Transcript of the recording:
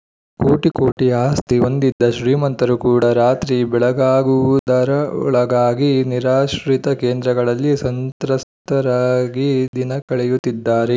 ಕೋಟಿ ಕೋಟಿ ಆಸ್ತಿ ಹೊಂದಿದ್ದ ಶ್ರೀಮಂತರು ಕೂಡ ರಾತ್ರಿ ಬೆಳಗಾಗುವುದರೊಳಗಾಗಿ ನಿರಾಶ್ರಿತ ಕೇಂದ್ರಗಳಲ್ಲಿ ಸಂತ್ರಸ್ತರಾಗಿ ದಿನ ಕಳೆಯುತ್ತಿದ್ದಾರೆ